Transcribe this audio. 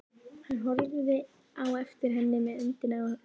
Hann horfði á eftir henni með öndina í hálsinum.